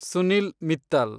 Sunil Mittal